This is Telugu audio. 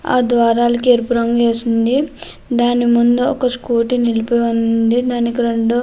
ఆ ద్వారాలకి ఎరుపు రంగు వేసి ఉంది. దాని ముందు ఒక స్కూటీ నిలిపి ఉంది. దానికి రెండు --